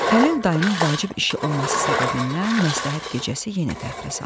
Xəlil dayının vacib işi olması səbəbindən məsləhət gecəsi yenə təxirə salındı.